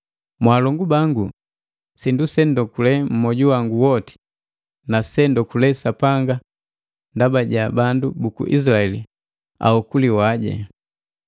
Mwaalongu bangu, sindu se ndokule mmwoju wangu woti na se nundoba Sapanga ndaba ja bandu buku Isilaeli aokuliwaje.